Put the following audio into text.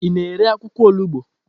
Ị na-ere akwụkwọ olugbo?